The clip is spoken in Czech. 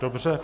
Dobře.